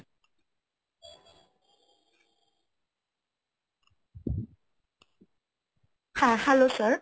হ্যাঁ hello sir,